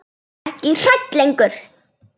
Er ekki hrædd lengur.